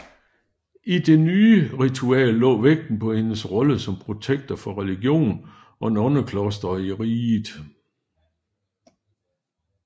I det nye ritual lå vægten på hendes rolle som protektor for religion og nonneklostre i riget